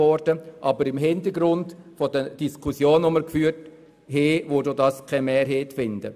Aber vor dem Hintergrund der Diskussionen, die wir geführt haben, würde dieser Punkt keine Mehrheit finden.